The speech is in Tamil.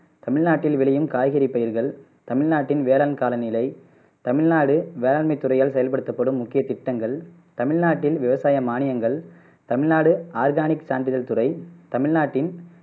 தமிழ்நாட்டில் விளையும் காய்கறிப் பயிர்கள், தமிழ்நாட்டின் வேளான் கால நிலை, தமிழ்நாடு வேளாண்மை துறையால் செயல்படுத்தப்படும் முக்கிய திட்டங்கள், தமிழ்நாட்டில் விவசாய மானியங்கள், தமிழ்நாடு ஆர்கானிக் சான்றிதழ் துறை தமிழ்நாட்டின்,